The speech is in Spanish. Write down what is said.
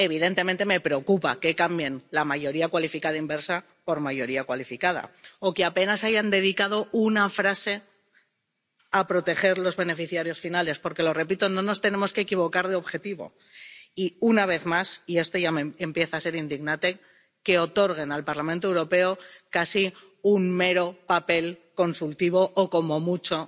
Evidentemente, me preocupa que cambien la mayoría cualificada inversa por mayoría cualificada, o que apenas hayan dedicado una frase a proteger a los beneficiarios finales, porque —lo repito— no nos tenemos que equivocar de objetivo, y, una vez más —y esto ya empieza a ser indignante—, que otorguen al Parlamento Europeo casi un mero papel consultivo o, como mucho,